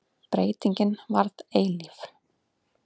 Breytingin varð eilíf.